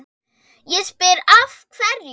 Ég spyr, af hverju?